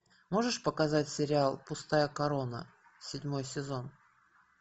можешь показать сериал пустая корона седьмой сезон